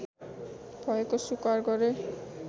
भएको स्वीकार गरे